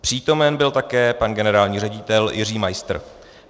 Přítomen byl také pan generální ředitel Jiří Majstr.